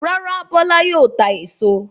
Rárá, Bọ́lá yóò ta èso.